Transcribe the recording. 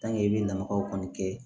i bɛ nagaw kɔni kɛ